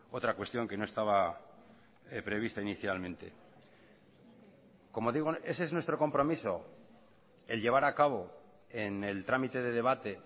otra cuestión que no estaba prevista inicialmente como digo ese es nuestro compromiso el llevar a cabo en el trámite de debate